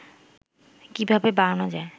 কিভাবে বাড়ানো যায়